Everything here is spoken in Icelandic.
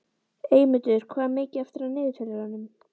Eymundur, hvað er mikið eftir af niðurteljaranum?